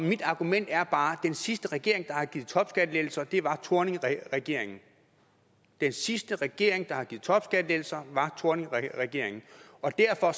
mit argument er bare at den sidste regering der har givet topskattelettelser var thorningregeringen den sidste regering der har givet topskattelettelser var thorningregeringen og derfor